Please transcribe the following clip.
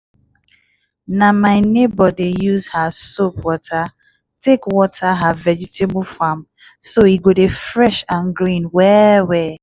na my neighbour dey use her soap water take water her vegetable farm so e go dey fresh and green well-well.